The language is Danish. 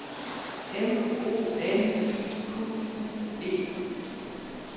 M O N I Q U E